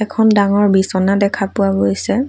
এখন ডাঙৰ বিছনা দেখা পোৱা গৈছে।